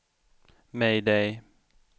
mayday